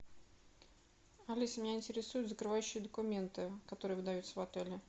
алиса меня интересуют закрывающие документы которые выдаются в отеле